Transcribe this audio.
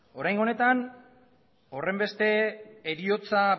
oraingo honetan horrenbeste heriotza